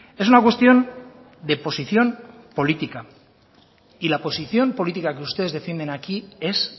es una cuestión de posición política y la posición política que ustedes defienden aquí es